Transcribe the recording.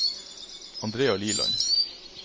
Andrea Liland